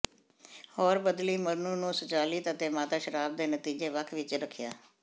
ਹੋਰ ਬਦਲੀ ਮਧੂ ਨੂੰ ਸੰਚਲਿਤ ਅਤੇ ਮਾਤਾ ਸ਼ਰਾਬ ਦੇ ਨਤੀਜੇ ਵੱਖ ਵਿੱਚ ਰੱਖਿਆ